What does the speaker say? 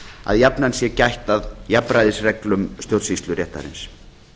að jafnan sé gætt að jafnræðisreglum stjórnsýsluréttarins